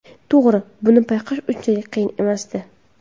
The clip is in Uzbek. To‘g‘ri, buni payqash unchalik qiyin emasdi.